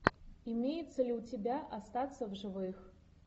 имеется ли у тебя остаться в живых